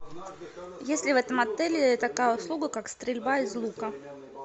есть ли в этом отеле такая услуга как стрельба из лука